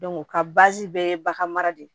ka bɛɛ ye bagan mara de